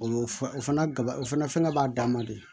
O ye o fana gaba o fana b'a dan ma de